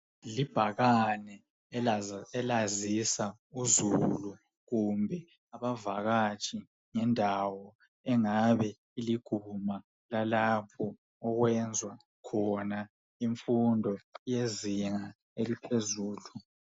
Libhakane elazisa uzulu kumbe abavakatshi ngendawo engabe iliguma lalapho okwenzwa khona imfundo yezinga eliphezulu.